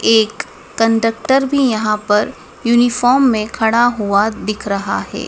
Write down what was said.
एक कंडक्टर भी यहां पर यूनिफॉर्म में खड़ा हुआ दिख रहा है।